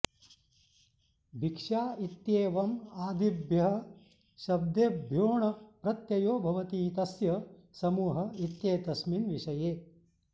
भिक्षा इत्येवम् आदिभ्यः शब्देभ्यो ऽण् प्रत्ययो भवति तस्य समूहः इत्येतस्मिन् विषये